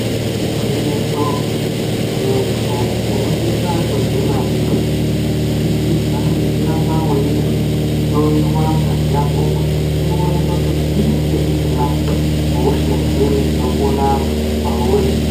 Igwinyiso muntu unosisa kudzingwarira kubudikidza ngekuramba weihloyiwa ngazi yako kuti ionekwe kuti inenge isina hosha ere inopona pauri.